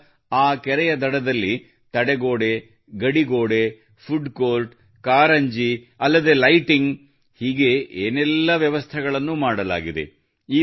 ಈಗ ಆ ಕೆರೆಯ ದಡದಲ್ಲಿ ತಡೆಗೋಡೆ ಗಡಿಗೋಡೆ ಫುಡ್ ಕೋರ್ಟ್ ಕಾರಂಜಿ ಅಲ್ಲದೆ ಲೈಟಿಂಗ್ ಹೀಗೆ ಏನೆಲ್ಲ ವ್ಯವಸ್ಥೆಗಳನ್ನು ಮಾಡಲಾಗಿದೆ